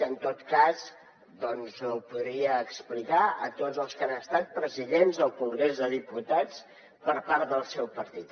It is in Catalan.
en tot cas ho podria explicar a tots els que han estat presidents al congrés dels diputats per part del seu partit